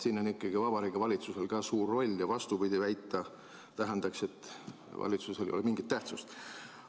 Siin on ikkagi Vabariigi Valitsusel suur roll ja vastupidist väita tähendaks seisukohta, et valitsusel ei ole mingit tähtsust.